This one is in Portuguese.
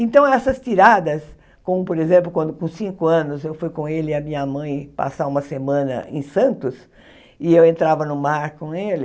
Então, essas tiradas, como, por exemplo, quando com cinco anos eu fui com ele e a minha mãe passar uma semana em Santos, e eu entrava no mar com ele,